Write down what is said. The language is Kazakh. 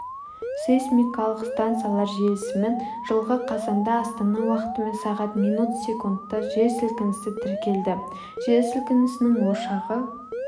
сейсмикалық станциялар желісімен жылғы қазанда астана уақытымен сағат минут секундта жер сілкінісі тіркелді жер сілкінісінің ошағы